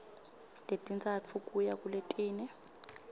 letintsatfu kuya kuletine